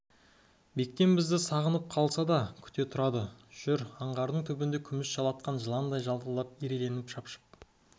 бектен бізді сағынып қалса да күте тұрады жүр аңғардың түбінде күміс жалатқан жыландай жалтылдап ирелендеп шапшып